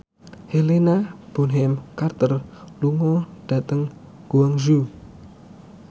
Helena Bonham Carter lunga dhateng Guangzhou